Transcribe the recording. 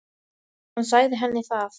Hann sagði henni það.